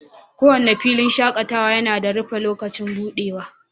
kowane filin shakatawa yana da rufe lokacin buɗewa